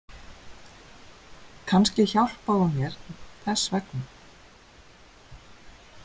Kannski hjálpaði hún mér þess vegna.